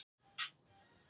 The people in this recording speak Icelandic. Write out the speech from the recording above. Spóaási